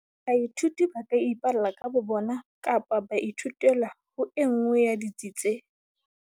Baithuti ba ka ipalla ka bo bona kapa ba ithutela ho e nngwe ya ditsi tse